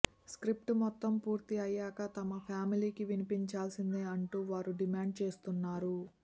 script మొత్తం పూర్తి అయ్యాక తమ ఫ్యామిలీకి వినిపించాల్సిందే అంటూ వారు డిమాండ్ చేస్తున్నారు